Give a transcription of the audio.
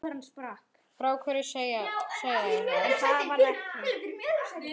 Frá hverju segja þær?